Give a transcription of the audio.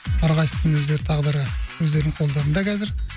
әрқайсысының өздері тағдыры өздерінің қолдарында қазір